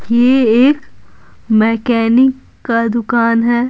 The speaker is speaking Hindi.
यह एक मैकेनिक का दुकान है।